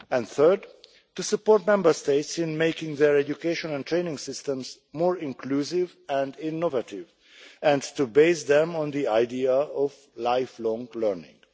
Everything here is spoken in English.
Thirdly, to support Member States in making their education and training systems more inclusive and innovative and to base them on the idea of lifelong learning.